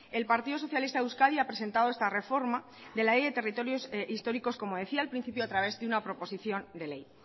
el partido socialista de euskadi ha presentado esta reforma de la ley de territorios históricos como decía al principio a través de una proposición de ley